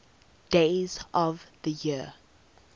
days of the year